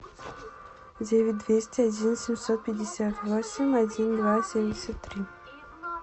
девять двести один семьсот пятьдесят восемь один два семьдесят три